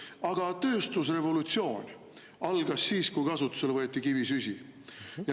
Aga tööstusrevolutsioon algas siis, kui kasutusele võeti kivisüsi.